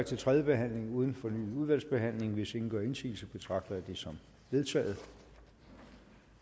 til tredje behandling uden fornyet udvalgsbehandling hvis ingen gør indsigelse betragter jeg det som vedtaget